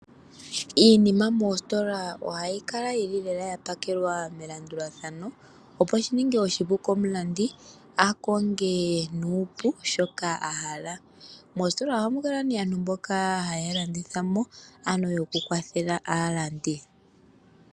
Iinima moositola ohayi kala yi li lela ya pakelwa melandulathano, opo shi ninge oshi pu komulandi a konge nuupu shoka a hala. Mositola ohamu kala aantu mboka haya landitha mo, ano yokukwathela aalandi.